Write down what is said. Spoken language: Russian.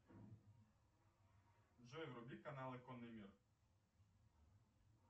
джой вруби каналы конный мир